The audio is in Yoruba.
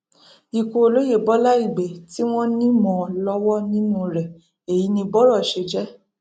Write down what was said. ikú olóye bọlá ìgbẹ tí wọn ní mọ lọwọ nínú rẹ èyí ni bọrọ ṣe jẹ